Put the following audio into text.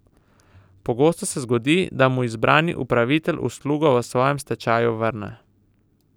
Pogosto se zgodi, da mu izbrani upravitelj uslugo v svojem stečaju vrne.